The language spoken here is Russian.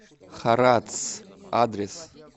харатс адрес